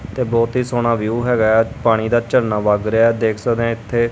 ਤੇ ਬਹੁਤ ਹੀ ਸੋਹਣਾ ਵਿਊ ਹੈਗਾ। ਪਾਣੀ ਦਾ ਝਰਨਾ ਵੱਗ ਰਿਹਾ ਦੇਖ ਸਕਦੇ ਇੱਥੇ।